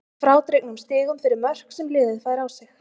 Að frádregnum stigum fyrir mörk sem liðið fær á sig.